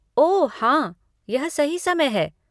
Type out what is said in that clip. ओह हाँ, यह सही समय है।